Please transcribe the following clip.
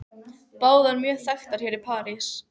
Báðar mjög þekktar hér í París.